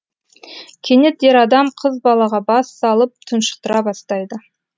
кенет ер адам қыз балаға бас салып тұншықтыра бастайды